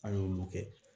An y'olu kɛ